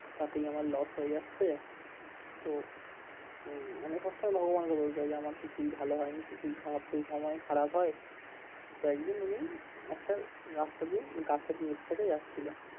তাতেই আমার loss হয়ে যাচ্ছে তো উম মানে সবসময় ভগবানকে দোষ দেয় যে আমার কিছুই ভালো হয়নি কিছুই খারাপ প্রতিসময়ই খারাপ হয় তো একদিন উনি একটা রাস্তা দিয়ে গাছের নিচ থেকে যাচ্ছিলো